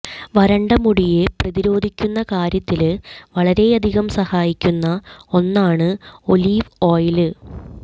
വരണ്ട മുടിയെ പ്രതിരോധിക്കുന്ന കാര്യത്തില് വളരെയധികം സഹായിക്കുന്ന ഒന്നാണ് ഒലീവ് ഓയില്